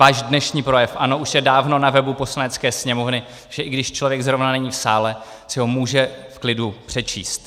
Váš dnešní projev, ano, už je dávno na webu Poslanecké sněmovny, že i když člověk zrovna není v sále, si ho může v klidu přečíst.